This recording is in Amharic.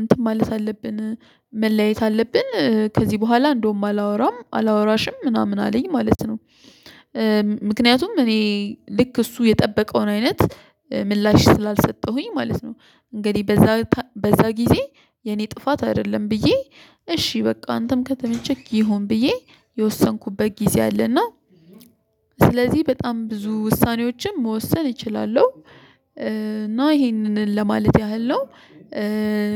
እንትን ማለት አለብን መለያየት አለብን ከዚህ በኋላ እንደውም አላወራም አላወራሽም ምናምን አለኝ ማለት ነው። ምክንያቱም እኔ ልክ እሱ የጠበቀውን አይነት ምላሽ ስላልሰጠሁኝ ማለት ነው። እንግዲህ በዛ ጊዜ የኔ ጥፋት አይደለም ብዬ እሺ በቃ አንተም ከተመቸክ ይሁን ብዬ የወሰንኩበት ጊዜ አለና ስለዚህ በጣም ብዙ ውሳኔዎችን መወሰን እችላለሁ። እና ይሄንን ለማለት ያህል ነው።